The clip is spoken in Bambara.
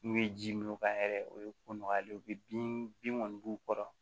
N'u ye ji min o kan yɛrɛ o ye ko nɔgɔyalen ye u bɛ bin kɔni b'u kɔrɔ